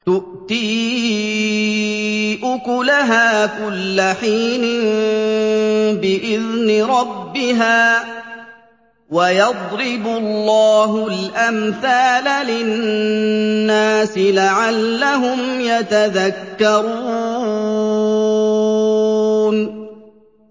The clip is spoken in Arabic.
تُؤْتِي أُكُلَهَا كُلَّ حِينٍ بِإِذْنِ رَبِّهَا ۗ وَيَضْرِبُ اللَّهُ الْأَمْثَالَ لِلنَّاسِ لَعَلَّهُمْ يَتَذَكَّرُونَ